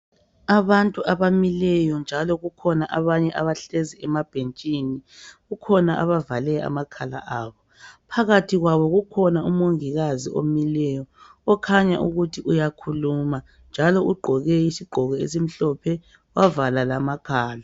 Abantu abamileyo njalo kukhona abanye abahlezi emabhentshini. Kukhona abavale amakhala abo. Phakathi kwabo kukhona umongikazi omileyo, Okhanya ukuthi uyakhuluma, njalo ugqoke isigqoko esimhlophe. Wavala lamakhala.